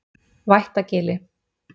Vættagili